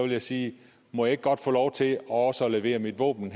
jeg sige må jeg ikke godt få lov til også at levere mit våben